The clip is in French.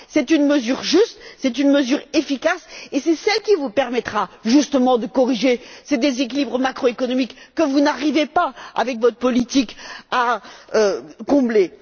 C'est une mesure juste, c'est une mesure efficace, et c'est celle qui vous permettra, justement, de corriger ces déséquilibres macro économiques que vous n'arrivez pas, avec votre politique, à compenser.